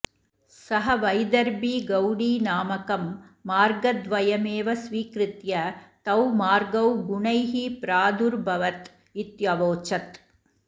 सः वैदर्भी गौडी नामकं मार्गद्वयमेव स्वीकृत्य तौ मार्गौ गुणैः प्रादुर्भवत् इत्यवोचत्